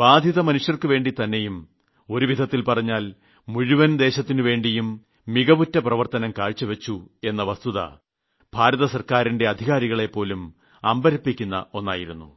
വരൾച്ചാബാധിതർക്കുവേണ്ടിയും ഒരുവിധത്തിൽ പറഞ്ഞാൽ മുഴുവൻ രാജ്യത്തിനുവേണ്ടിയും മികവുറ്റ പ്രവർത്തനം കാഴ്ചവച്ചു എന്ന വസ്തുത ഭാരതസർക്കാരിന്റെ അധികാരികളെപ്പോലും അമ്പരപ്പിക്കുന്ന ഒന്നായിരുന്നു